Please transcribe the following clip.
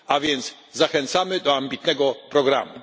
A więc zachęcamy do ambitnego programu.